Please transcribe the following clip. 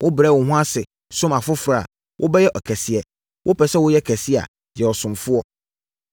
Wobrɛ wo ho ase som afoforɔ a, wobɛyɛ ɔkɛseɛ. Wopɛ sɛ woyɛ kɛse a, yɛ ɔsomfoɔ.